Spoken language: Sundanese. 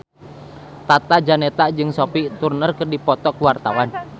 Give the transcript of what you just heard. Tata Janeta jeung Sophie Turner keur dipoto ku wartawan